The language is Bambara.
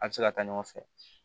A bɛ se ka taa ɲɔgɔn fɛ